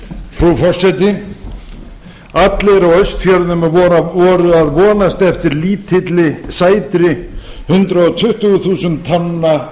frú forseti allir á austfjörðum voru að vonast eftir lítilli og sætri hundrað tuttugu þúsund tonna